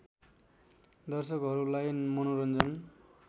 दर्शकहरूलाई मनोरन्जन